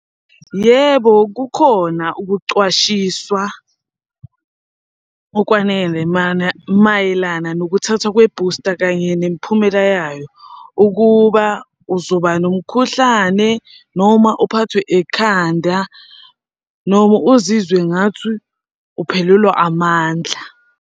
Yebo, kukhona ukucwashiswa okwanele mayelana nokuthathwa kwe-booster kanye nemiphumela yayo, ukuba uzoba nomkhuhlane noma uphathwe ekhanda noma uzizwe ngathi uphelelwa amandla.